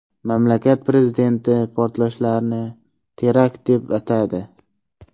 Mamlakat prezidenti portlashlarni terakt deb atadi .